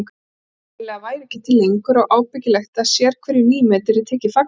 Hún hreinlega væri ekki til lengur og ábyggilegt að sérhverju nýmeti yrði tekið fagnandi.